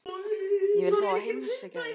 Ég vil fá að heimsækja þig.